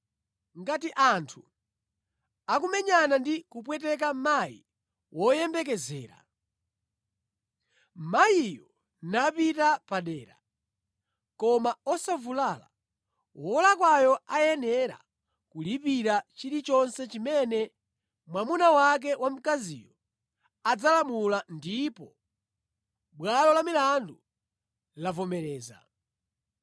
“Ngati anthu akumenyana ndi kupweteka mayi woyembekezera, mayiyo napita padera, koma osavulala, wolakwayo ayenera kulipira chilichonse chimene mwamuna wake wa mkaziyo adzalamula ndipo bwalo lamilandu lavomereza.